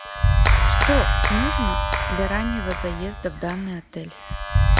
что нужно для раннего заезда в данный отель